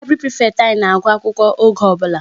Library prefect anyị na-agụ akwụkwọ oge ọbụla.